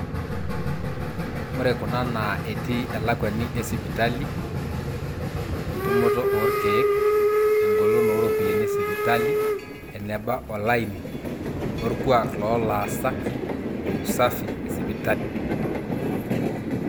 ore kuna naa etii elakwani esipitali, entumoto oorkeek, eng'olon ooropiyiani esipitali, eneba olaini, orkuaak loolaasak, o usafi esipitali